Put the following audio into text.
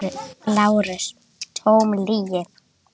LÁRUS: Tóm lygi!